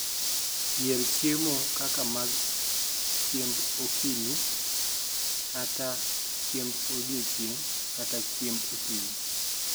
yier chiemo kaka mag thiemb okinyi kata chiemb odiechieng kata chiemb otieno